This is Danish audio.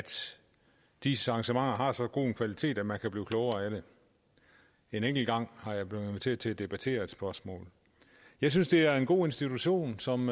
diis arrangementer har så god en kvalitet at man kan blive klogere af det en enkelt gang er jeg blevet inviteret til at debattere et spørgsmål jeg synes det er en god institution som